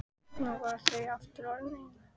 Nú voru þau aftur orðin ein.